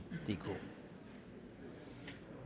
DK